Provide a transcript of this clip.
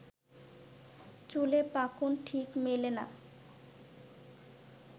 চুলে পাকন, ঠিক মেলে না